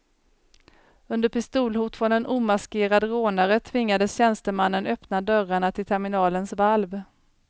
Under pistolhot från en omaskerad rånare tvingades tjänstemannen öppna dörrarna till terminalens valv.